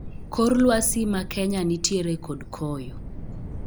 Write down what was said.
Kor lwasi ma Kenya nitiere kod koyo